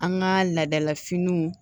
An ka ladala finiw